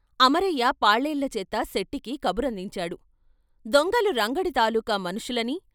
అమరయ్య పాలేళ్ళచేత సెట్టికి కబురందించాడు, "దొంగలు రంగడి తాలూక మనుషులని.